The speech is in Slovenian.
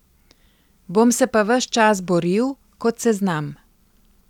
Bom se pa ves čas boril, kot se znam.